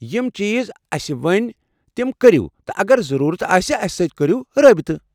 یم چیٖز اسہِ ؤنۍ تِم كٔرو تہٕ اگر ضروٗرت آسہِ تہٕ اسہِ سٕتۍ کٔرو رٲبطہٕ۔